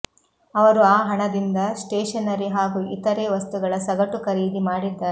ಅವರು ಆ ಹಣದಿಂದ ಸ್ಟೇಷನರಿ ಹಾಗೂ ಇತರೆ ವಸ್ತುಗಳ ಸಗಟು ಖರೀದಿ ಮಾಡಿದ್ದಾರೆ